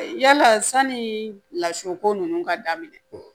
Yala sanni lasurunko ninnu ka daminɛ